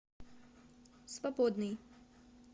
свободный